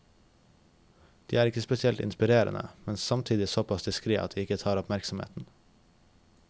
De er ikke spesielt inspirerende, men er samtidig såpass diskret at de ikke tar oppmerksomheten.